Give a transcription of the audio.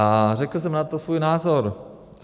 A řekl jsem na to svůj názor.